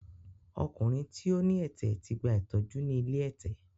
Ọkùnrin tí ó ní ẹ̀tẹ̀ ti gba ìtọ́jú ni ilé ẹ̀tẹ̀.